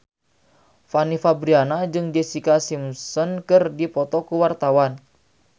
Fanny Fabriana jeung Jessica Simpson keur dipoto ku wartawan